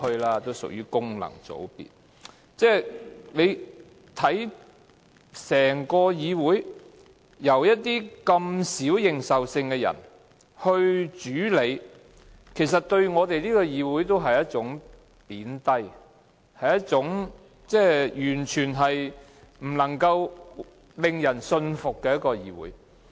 大家看到，整個議會由一些認受性低的人來主理，其實是貶低我們的議會，是一個完全不能夠令人信服的議會。